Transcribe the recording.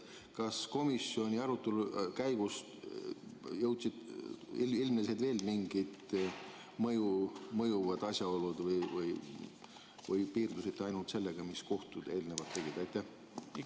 Kas komisjoni arutelu käigus ilmnesid veel mingid mõjuvad asjaolud või piirdusite ainult sellega, mis kohtud eelnevalt tegid?